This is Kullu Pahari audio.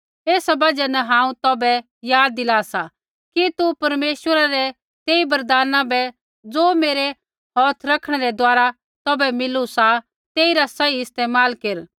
एसा बजहा न हांऊँ तौभै याद दिला सा कि तू परमेश्वरै रै तेई वरदाना बै ज़ो मेरै हौथ रखणै रै द्वारा तौभै मिलू सा तेइरा सही इस्तेमाल केर